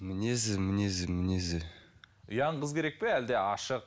мінезі мінезі мінезі ұяң қыз керек пе әлде ашық